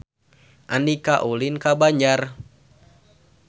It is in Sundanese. Andika ulin ka Banjar